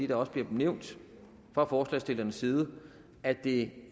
det også bliver nævnt fra forslagsstillernes side at det